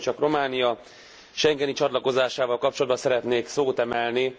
Ugyanis én csak Románia schengeni csatlakozásával kapcsolatban szeretnék szót emelni.